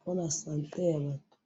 pe na sante ya batu